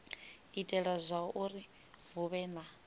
itela zwauri hu vhe na